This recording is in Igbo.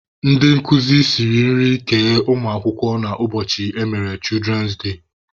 Ndị nkuzi siri nri kee ụmụ akwụkwọ na ụbọchị emere "children day".